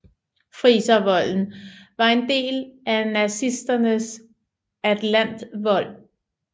Friservolden var en del af nazisternes atlantvold